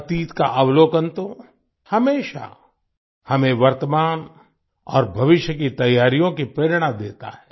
अतीत का अवलोकन तो हमेशा हमें वर्तमान और भविष्य की तैयारियोँ की प्रेरणा देता है